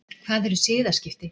Hvað eru siðaskipti?